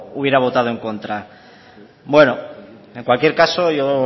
hubiera votado en contra en cualquier caso yo